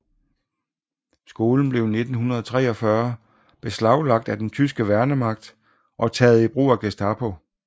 Skolen blev i 1943 beslaglagt af den tyske værnemagt og taget i brug af Gestapo